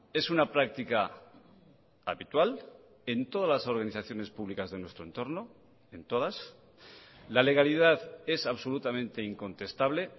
es una práctica habitual en todas las organizaciones públicas de nuestro entorno en todas la legalidad es absolutamente incontestable